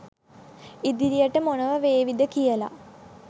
ඉදිරියට මොනවා වේවිද කියලා